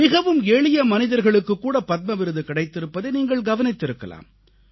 மிகவும் எளிய மனிதர்களுக்குக் கூட பத்ம விருது கிடைத்திருப்பதை நீங்கள் கவனித்திருக்கலாம்